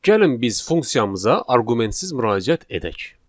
Gəlin biz funksiyamıza arqumentsiz müraciət edək.